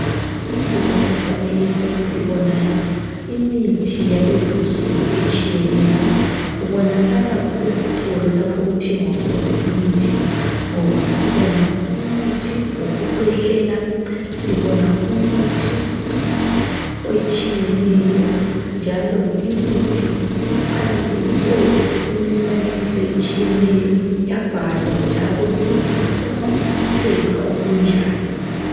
Kulo umfanekiso sibona imithi yalezinsuku etshiyeneyo kubonakala kusesithola lapho okuthengwa khona imithi ngoba sibona umuthi wokukhwehlela sibona imithi etshiyeneyo njalo limithi ifanekiswe imifanekiso etshiyeneyo yabhalwa njalo ukuthi ifuna uphepha olu njani